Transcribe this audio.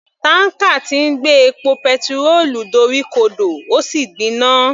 Tanker tí ń gbé epo petirólù dorí ko dò ó sì gbiná.